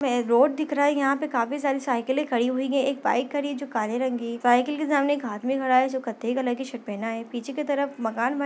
हमें एक रोड दिख रहा है यहाँ पे काफी सारी साइकिले खड़ी हुई है एक बाइक खड़ी है जो काले रंग की है साइकिल के सामने एक आदमी खड़ा है जो कत्थे कलर की शर्ट पहना है पीछे की तरफ मकान --